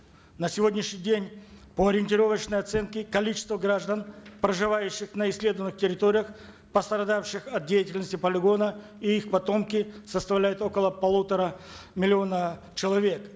на сегодняшний день по ориентировочной оценке количество граждан проживающих на исследованных территориях пострадавших от деятельности полигона и их потомки составляют около полутора миллиона человек